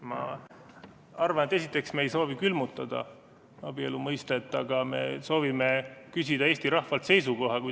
Ma arvan, et esiteks ei soovi me külmutada abielu mõistet, aga me soovime küsida Eesti rahvalt seisukohta.